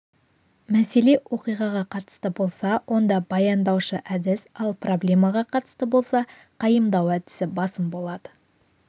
мәселе оқиғаға қатысты болса онда баяндаушы әдіс ал проблемаға қатысты болса қайымдау әдісі басым болады